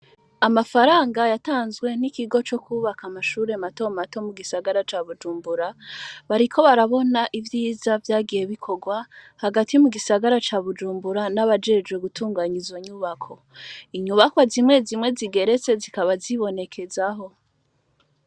Amafaranga yatanzwe n'ikigo co kwubaka amashure mato mato mu gisagara ca bujumbura bariko barabona ivyiza vyagiye bikorwa hagati mu gisagara ca bujumbura n'abajejwe gutunganya izonyubako inyubako zimwe zimwe zigeretse zikaba zibonekezaho.